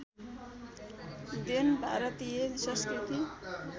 then भारतीय संस्कृति